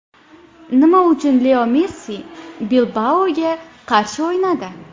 Nima uchun Leo Messi Bilbao‘ga qarshi o‘ynadi?